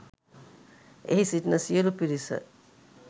එහි සිටින සියලූ පිරිස